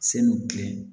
Sanu kɛ